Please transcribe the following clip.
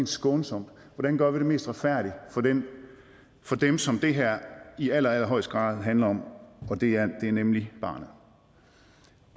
skånsomt og mest retfærdigt for den som det her i allerallerhøjeste grad handler om og det er nemlig barnet